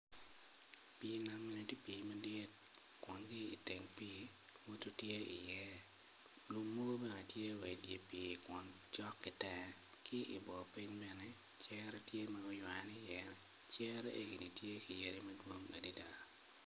Pii nam eni tye pii madit kun ki iteng pii eni modo lum mogo bene tye wa idye pii kun cok ki tera ki ibor piny bene cere tye ma guywane iye cere eni tye ki yadi madwong adada.